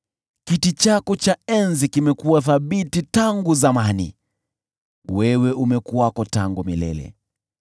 Kiti chako cha enzi kimekuwa thabiti tangu zamani; wewe umekuwako tangu milele.